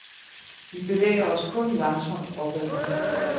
Vi bevæger os kun langsomt opad.